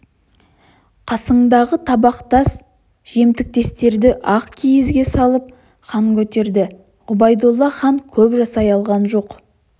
қасындағы табақтас-жемтіктестері ақ киізге салып хан көтерді ғұбайдолла хан көп жасай алған жоқ